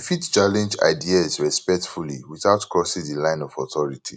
you fit challenge ideas respectfully without crossing di line of authority